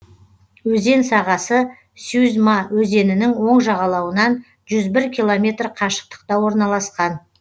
өзен сағасы сюзьма өзенінің оң жағалауынан жүз бір километр қашықтықта орналасқан